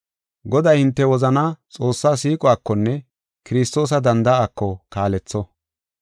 Goday hinte wozanaa Xoossa siiquwakonne Kiristoosa danda7aako kaaletho.